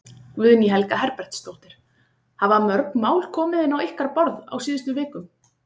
Guðný Helga Herbertsdóttir: Hafa mörg mál komið inn á ykkar borð á síðustu vikum?